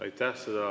Aitäh!